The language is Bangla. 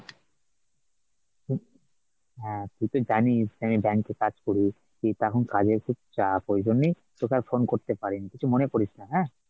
হ্যাঁ তুই তো জানিস আমি bank এ কাজ করি কিন্তু এখন কাজের খুব চাপ ওইজন্নেই, তোকে আর phone করতে পারি নি কিছু মনে করিস না হ্যাঁ,